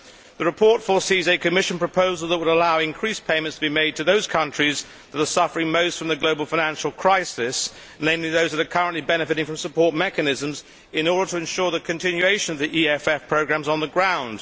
The report foresees a Commission proposal that would allow increased payments to be made to those countries that are suffering most from the global financial crisis, namely those that are currently benefiting from support mechanisms in order to ensure the continuation of the EFF programmes on the ground.